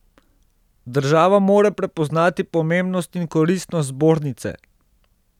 Država mora prepoznati pomembnost in koristnost zbornice.